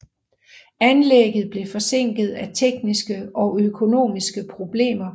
Anlægget blev forsinket af tekniske og økonomiske problemer